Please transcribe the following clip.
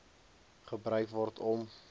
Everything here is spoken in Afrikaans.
gebruik word om